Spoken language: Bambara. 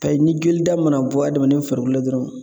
K'a ye ni jolida mana bɔ adamaden farikolo la dɔrɔn